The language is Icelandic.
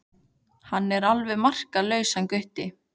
Hann er alveg makalaus hann Gutti.